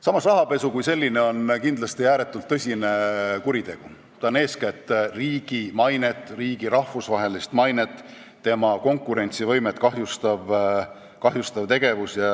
Samas, rahapesu kui selline on kindlasti ääretult tõsine kuritegu, ta kahjustab eeskätt riigi rahvusvahelist mainet ja tema konkurentsivõimet.